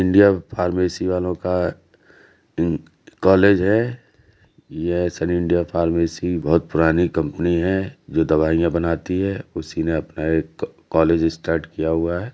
India pharmacy वालों का college है। ये सन इंडिया फार्मेसी बहोत पुरानी कंपनी है जो दवाईयां बनाती है उसी ने अपना कॉलेज स्टार्ट किया हुआ है।